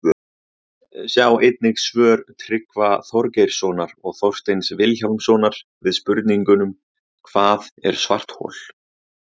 Sjá einnig svör Tryggva Þorgeirssonar og Þorsteins Vilhjálmssonar við spurningunum Hvað er svarthol?